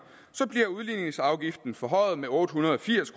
så bliver udligningsafgiften forhøjet med otte hundrede og firs